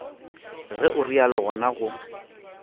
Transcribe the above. ge o realo gona go